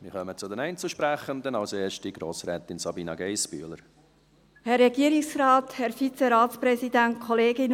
Wir kommen zu den Einzelsprechenden; als Erste Grossrätin Sabina Geissbühler.